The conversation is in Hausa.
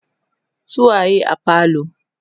su waye a falo?